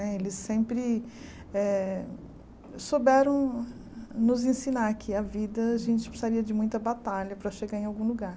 Né eles sempre eh souberam nos ensinar que a vida a gente precisaria de muita batalha para chegar em algum lugar.